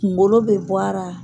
Kungolo bɛ bɔ a ra.